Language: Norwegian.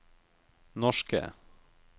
norske